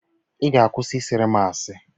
ị ga-akwụsị ị sịịrị m asị?